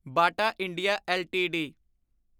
Bata India LTD